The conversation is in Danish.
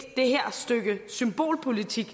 det her stykke symbolpolitik